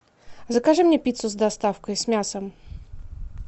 закажи мне пиццу с доставкой с мясом